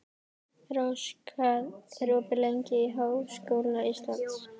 Rós, hvað er opið lengi í Háskóla Íslands?